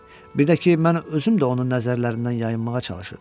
Birdə ki, mən özüm də onun nəzərlərindən yayınmağa çalışırdım.